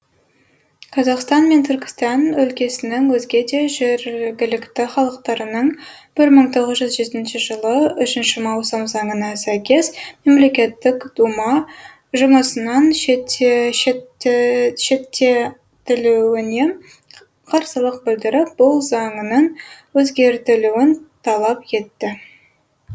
қазақстан мен түркістан өлкесінің өзге де жергілікті халықтарының бір мың тоғыз жүз жетінші жылы үшінші маусым заңына сәйкес мемлекеттік дума жұмысынан шеттетілуіне қарсылық білдіріп бұл заңның өзгертілуін талап етті